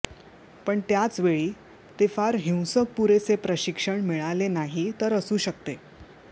पण त्याच वेळी ते फार हिंसक पुरेसे प्रशिक्षण मिळाले नाही तर असू शकते